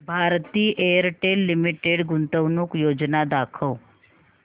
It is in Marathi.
भारती एअरटेल लिमिटेड गुंतवणूक योजना दाखव